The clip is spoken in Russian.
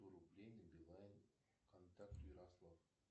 сто рублей на билайн контакт ярослав